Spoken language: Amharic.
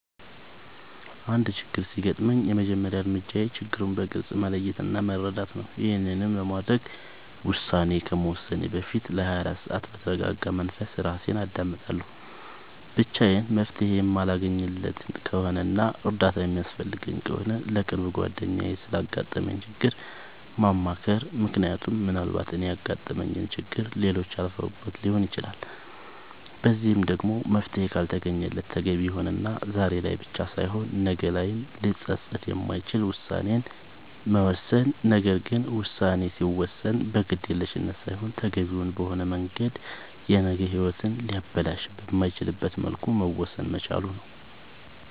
አንድ ችግር ሲያጋጥመኝ የመጀመሪያ እርምጃዬ ችግሩን በግልፅ መለየት እና መረዳት ነዉ ይሄንንም ለማድረግ ውሳኔ ከመወሰኔ በፊት ለ24 ሰዓት በተርጋጋ መንፈስ እራሴን አዳምጣለሁ ብቻዬን መፍትሄ የማለገኝለት ከሆነና እርዳታ የሚያስፈልገኝ ከሆነ ለቅርብ ጓደኛዬ ስላጋጠመኝ ችግር ማማከር ምክንያቱም ምናልባት እኔ ያጋጠመኝን ችግር ሌሎች አልፈውበት ሊሆን ይችላል በዚህም ደግሞ መፍትሄ ካልተገኘለት ተገቢ የሆነና ዛሬ ላይ ብቻ ሳይሆን ነገ ላይም ሊፀፅት የማይችል ውሳኔን መወሰን ነገር ግን ውሳኔ ሲወሰን በግዴለሽነት ሳይሆን ተገቢውን በሆነ መንገድ የነገ ሂወትን ሊያበላሽ በማይችልበት መልኩ መወሰን መቻል ነዉ